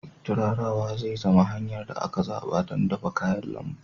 Turarawa zai zama hanyar da aka zaɓa don dafa kayan lambu.